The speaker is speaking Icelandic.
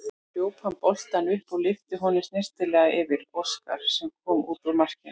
Hljóp hann boltann upp og lyfti honum snyrtilega yfir Óskar sem kom út úr markinu.